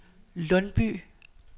Lundby